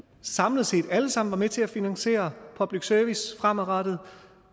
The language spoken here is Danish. samlet set alle sammen er med til at finansiere public service fremadrettet